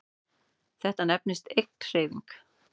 Þetta nefnist eiginhreyfing.